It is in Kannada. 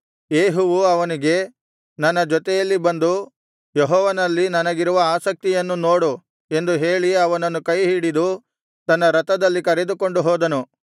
ಯೇಹುವು ಅವನಿಗೆ ನನ್ನ ಜೊತೆಯಲ್ಲಿ ಬಂದು ಯೆಹೋವನಲ್ಲಿ ನನಗಿರುವ ಆಸಕ್ತಿಯನ್ನು ನೋಡು ಎಂದು ಹೇಳಿ ಅವನನ್ನು ಕೈಹಿಡಿದು ತನ್ನ ರಥದಲ್ಲಿ ಕರೆದುಕೊಂಡು ಹೋದನು